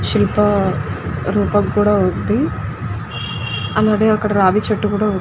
శిల్ప రూపము కూడ ఉనది అలాగె అక్కడ రాగి చెట్టు కూడా ఉంది.